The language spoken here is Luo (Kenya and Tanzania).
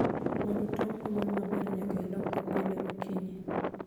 Mondo tong ogol maber nyaka ilokgi pile okinyi